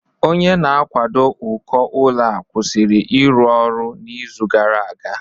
Onye na-akwado uko ụlọ ọ kwụsịrị ịrụ ọrụ n'izu gara aga?